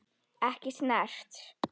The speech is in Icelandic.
Ekki snert.